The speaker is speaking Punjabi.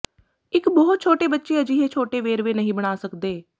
ਇੱਕ ਬਹੁਤ ਛੋਟੇ ਬੱਚੇ ਅਜਿਹੇ ਛੋਟੇ ਵੇਰਵੇ ਨਹੀਂ ਬਣਾ ਸਕਦੇ